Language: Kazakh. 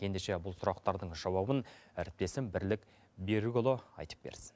ендеше бұл сұрақтардың жауабын әріптесім бірлік берікұлы айтып берсін